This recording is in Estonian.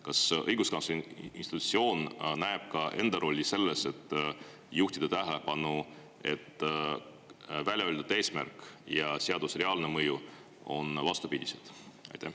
Kas õiguskantsleri institutsioon näeb ka enda rolli selles, et juhtida tähelepanu, et välja öeldud eesmärk ja seaduse reaalne mõju on vastupidised?